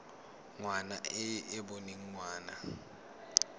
ngwana e e boneng ngwana